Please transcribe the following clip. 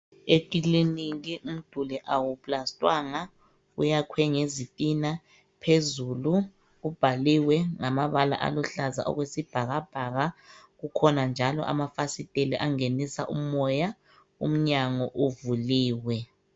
Ekiliniki umduli awuplasitwanga uyakhwe ngezintina phezulu ubhaliwe ngamabala aluhlaza okwesibhakabhaka kukhona njalo amafasistela angenisa umoya umnyango uvuliwe.